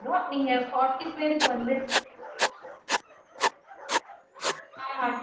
Okay mam so three so three time ம் forty members க்கு பண்ணிரலாமா mam?